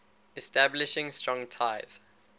establishing strong ties